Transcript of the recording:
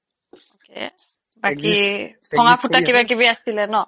বাকী ভঙা ফুটা কিবা কিবি আছিলে ন